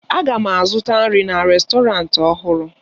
Aga m azụta nri na rèstọrantị ọhụrụ